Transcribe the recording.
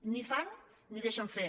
ni fan ni deixen fer